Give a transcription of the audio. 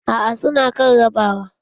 Aa su na kan rabawa.